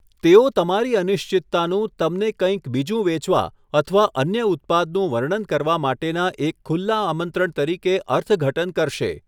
તેઓ તમારી અનિશ્ચિતતાનું તમને કંઈક બીજું વેચવા અથવા અન્ય ઉત્પાદનું વર્ણન કરવા માટેના એક ખુલ્લા આમંત્રણ તરીકે અર્થઘટન કરશે.